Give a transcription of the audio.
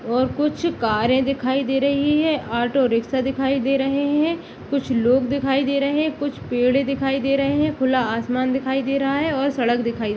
और कुछ कारे दिखाई दे रही है ऑटो रिक्षा दिखाई दे रहे है कुछ लोग दिखाई दे रहे है कुछ पेड़ दिखाई दे रहे है खुला आसमान दिखाई दे रहा है और सड़क दिखाई--